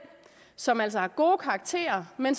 som altså har gode karakterer men